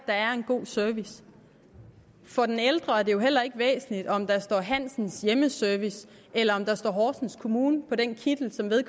der er en god service for den ældre er det jo heller ikke væsentligt om der står hansens hjemmeservice eller om der står horsens kommune på den kittel som